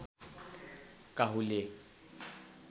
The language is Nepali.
काहुले